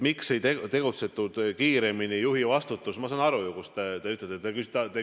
Miks ei tegutsetud kiiremini, juhi vastutus – ma saan ju aru, kus on teie küsimuse tuum.